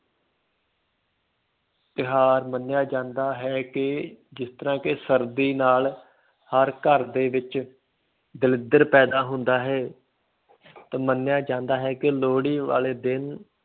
ਤਿਉਹਾਰ ਮੰਨਿਆ ਜਾਂਦਾ ਹੈ ਕਿ ਜਿਸ ਤਰ੍ਹਾਂ ਕਿ ਸਰਦੀ ਨਾਲ ਹਰ ਘਰ ਦੇ ਵਿੱਚ ਦਲਿੱਦਰ ਪੈਦਾ ਹੁੰਦਾ ਹੈ ਤੇ ਮੰਨਿਆ ਜਾਂਦਾ ਹੈ ਕਿ ਲੋਹੜੀ ਵਾਲੇ ਦਿਨ